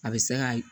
A bɛ se ka